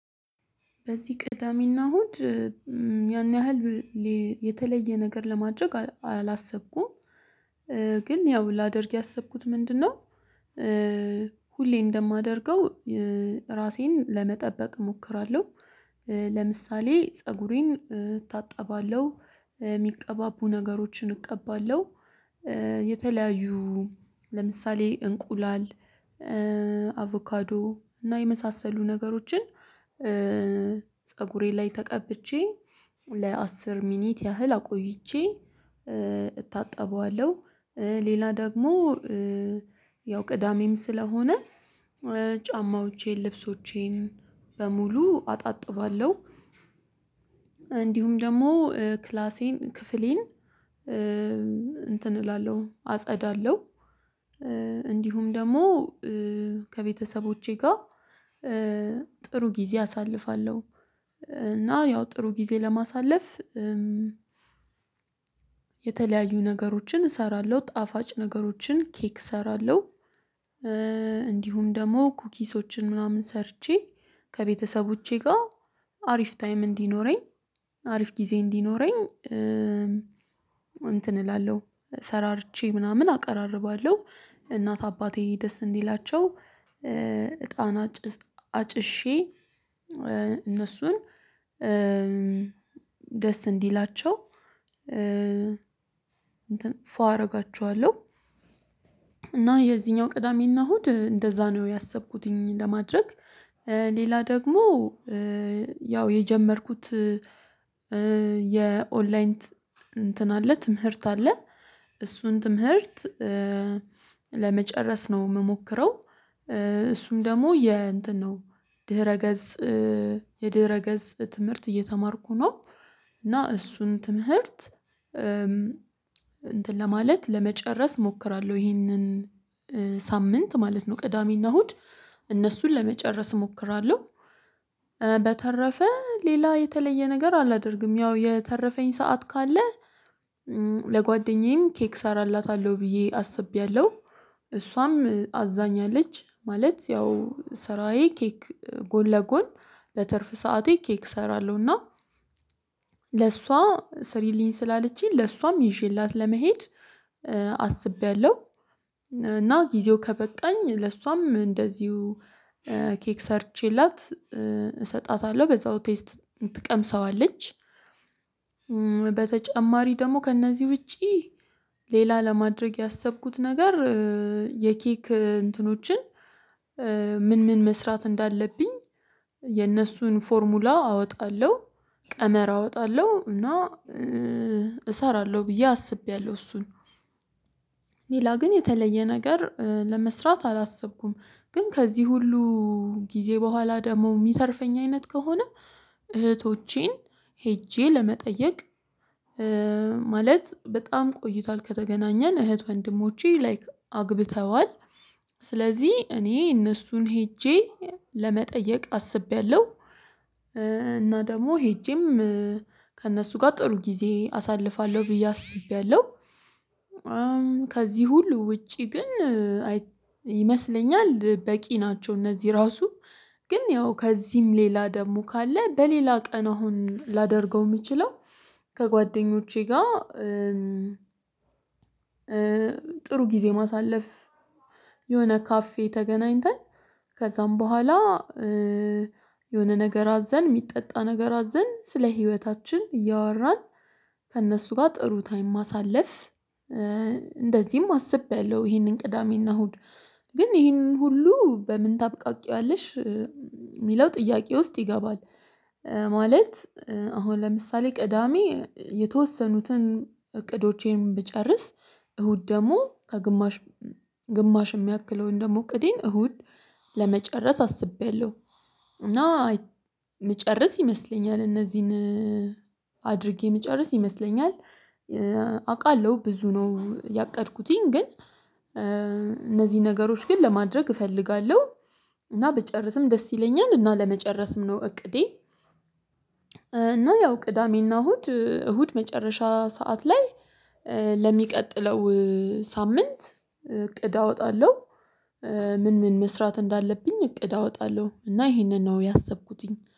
በዚህ ቅዳሜና እሁድ ያን ያህል የተለየ ነገር ለማድረግ አላሰብኩም። ግን ያው ላደርግ ያሰብኩት ምንድነው? ሁሌ እንደማደርገው ራሴን ለመጠበቅ እሞክራለሁ። ለምሳሌ ፀጉሬን እታጠባለሁ፣ የሚቀባቡ ነገሮችን እቀባለሁ፣ የተለያዩ ለምሳሌ እንቁላል አቮካዶ እና የመሳሰሉ ነገሮችን ፀጉሬ ላይ ተቀብቼ ለአስር ደቂቃ ያህል አቆይቼ እታጠበዋለሁ። ሌላ ደግሞ ያው ቅዳሜም ስለሆነ ጫማዎቼን ልብሶቼን በሙሉ አጣጥባለሁ። እንዲሁም ደግሞ ክላሴን ክፍሌን እንትን እላለሁ አጸዳለሁ። እንዲሁም ደግሞ ከቤተሰቦቼ ጋር ጥሩ ጊዜ አሳልፋለሁ። እና ያው ጥሩ ጊዜ ለማሳለፍ የተለያዩ ነገሮችን እሰራለሁ ጣፋጭ ነገሮችን ኬክ እሰራለሁ። እንዲሁም ደግሞ ኩኪሶችን ምናምን ሰርቼ ከቤተሰቦቼ ጋር አሪፍ ታይም እንዲኖረኝ አሪፍ ጊዜ እንዲኖረኝ እንትን እላለሁ ሰራርቼ ምናምን አቀራርባለሁ እናት አባቴ ደስ እንዲላቸው እጣን አጭሼ እነሱን ደስ እንዲላቸው እንትን ፏ አደርጋችኋለሁ። እና የዚህኛው ቅዳሜና እሁድ እንደዛ ነው ያሰብኩትኝ ለማድረግ። ሌላ ደግሞ ያው የጀመርኩት የኦንላይን እንትን አለ ትምህርት አለ እሱን ትምህርት ለመጨረስ ነው የምሞክረው። እሱም ደግሞ የእንትን ነው ድህረ ገጽ የድህረ ገጽ ትምህርት እየተማርኩ ነው። እና እሱን ትምህርት እንትን ለማለት ለመጨረስ እሞክራለሁ ይሄንን ሳምንት ማለት ነው ቅዳሜና እሁድ እነሱን ለመጨረስ እሞክራለሁ። በተረፈ ሌላ የተለየ ነገር አላደርግም። ያው የተረፈኝ ሰዓት ካለ ለጓደኛዬም ኬክ እሰራላታለሁ ብዬ አስቤያለሁ። እሷም አዛኛለች ማለት ያው ስራዬ ኬክ ጎንለጎን በትርፍ ሰዓቴ ኬክ እሰራለሁ እና ለሷ ስሪልኝ ስላለችኝ ለሷም ይዤላት ለመሄድ አስቤያለሁ። እና ጊዜው ከበቃኝ ለሷም እንደዚሁ ኬክ ሰርቼላት እሰጣታለሁ በዛው ቴስት ትቀምሰዋለች። በተጨማሪ ደግሞ ከእነዚህ ውጪ ሌላ ለማድረግ ያሰብኩት ነገር የኬክ እንትኖችን ምን ምን መስራት እንዳለብኝ የነሱን ፎርሙላ አወጣለሁ። ቀመር አወጣለሁ እና እሰራለሁ ብዬ አስቤያለሁ። እሱን ሌላ ግን የተለየ ነገር ለመስራት አላሰብኩም። ግን ከዚህ ሁሉ ጊዜ በኋላ ደግሞ የሚተርፈኝ አይነት ከሆነ እህቶቼን ሄጄ ለመጠየቅ ማለት በጣም ቆይቷል ከተገናኘን እህት ወንድሞቼ ላይክ አግብተዋል ስለዚህ እኔ እነሱን ሄጄ ለመጠየቅ አስቤያለሁ። እና ደግሞ ሄጄም ከእነሱ ጋር ጥሩ ጊዜ አሳልፋለሁ ብዬ አስቤያለሁ። ከዚህ ሁሉ ውጪ ግን ይመስለኛል በቂ ናቸው። እነዚህ ራሱ ግን ያው ከዚህም ሌላ ደግሞ ካለ በሌላ ቀን አሁን ላደርገው የምችለው ከጓደኞቼ ጋር ጥሩ ጊዜ ማሳለፍ የሆነ ካፌ ተገናኝተን ከዛም በኋላ የሆነ ነገር አዘን የሚጠጣ ነገር አዘን ስለ ህይወታችን እያወራን ከእነሱ ጋር ጥሩ ታይም ማሳለፍ። እንደዚህም አስቤያለሁ ይሄንን ቅዳሜና እሁድ ግን ይሄንን ሁሉ በምን ታብቃቂያለሽ የሚለው ጥያቄ ውስጥ ይገባል። ማለት አሁን ለምሳሌ ቅዳሜ የተወሰኑትን እቅዶቼን ብጨርስ እሁድ ደግሞ ከግማሽ ግማሽ የሚያክለውን ደግሞ እቅዴን እሁድ ለመጨረስ አስቤያለሁ። እና እምመጨረስ ይመስለኛል እነዚህን አድርጌ እምጨረስ ይመስለኛል። አውቃለሁ ብዙ ነው ያቀድኩትኝ ግን እነዚህ ነገሮች ግን ለማድረግ እፈልጋለሁ እና ብጨርስም ደስ ይለኛል እና ለመጨረስም ነው እቅዴ። እና ያው ቅዳሜና እሁድ እሁድ መጨረሻ ሰዓት ላይ ለሚቀጥለው ሳምንት እቅድ አወጣለሁ። ምን ምን መስራት እንዳለብኝ እቅድ አወጣለሁ እና ይሄንን ነው ያሰብኩትኝ